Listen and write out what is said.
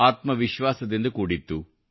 ಆತ್ಮ ವಿಶ್ವಾಸದಿಂದ ಕೂಡಿತ್ತು